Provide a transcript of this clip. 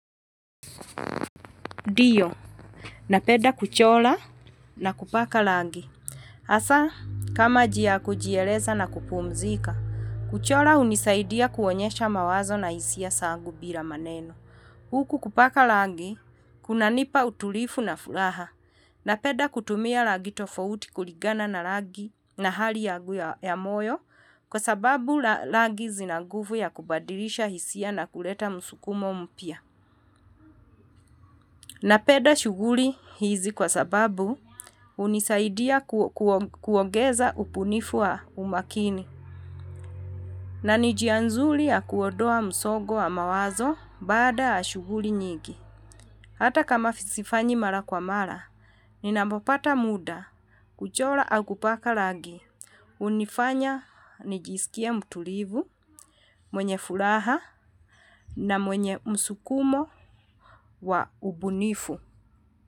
Ndioo, napeda kuchola na kupaka lagi. Asa, kama jia kujieleza na kupumzika, kuchola unisaidia kuonyesha mawazo na hisia sangu bila maneno. Huku kupaka lagi, kuna nipa utulifu na furaha. Na peda kutumia lagi tofauti kuligana na lagi na hali yangu ya moyo, kwa sababu lagi zinaguvu ya kubadilisha hisia na kuleta musukumo mpia. Na peda shuguri hizi kwa sababu unisaidia kuongeza ubunifu wa umakini. Na nijianzuli ya kuodoa msogo wa mawazo baada ya shuguri nyigi. Hata kama sifanyi mara kwa mara, ninamopata muda, kujola au kupaka lagi. Unifanya nijisikia mtulivu, mwenye furaha na mwenye msukumo wa ubunifu.